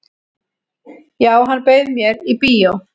"""Já, hann bauð mér í bíó."""